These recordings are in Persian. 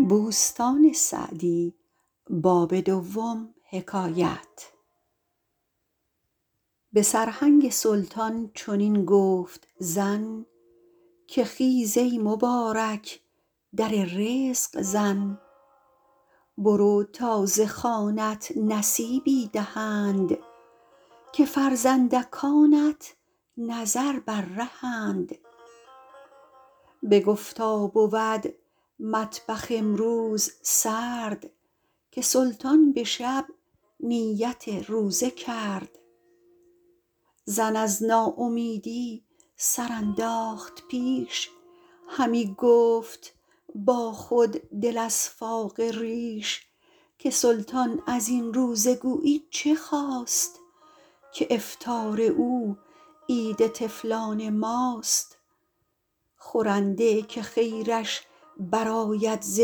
به سرهنگ سلطان چنین گفت زن که خیز ای مبارک در رزق زن برو تا ز خوانت نصیبی دهند که فرزندکانت نظر بر رهند بگفتا بود مطبخ امروز سرد که سلطان به شب نیت روزه کرد زن از ناامیدی سر انداخت پیش همی گفت با خود دل از فاقه ریش که سلطان از این روزه گویی چه خواست که افطار او عید طفلان ماست خورنده که خیرش برآید ز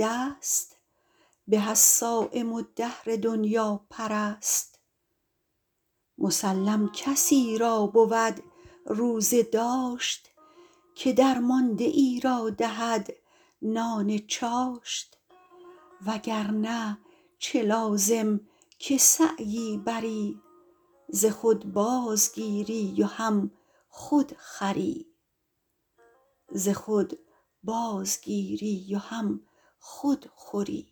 دست به از صایم الدهر دنیاپرست مسلم کسی را بود روزه داشت که درمانده ای را دهد نان چاشت وگرنه چه لازم که سعیی بری ز خود بازگیری و هم خود خوری